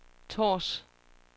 Tårs